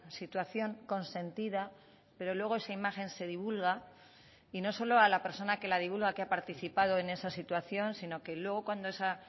situación consentida pero luego esa imagen se divulga y no solo a la persona que la divulga que ha participado en esa situación sino que luego cuando esa